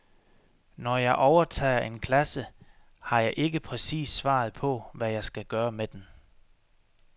Når jeg overtager en klasse, har jeg ikke præcis svaret på, hvad jeg skal gøre med den.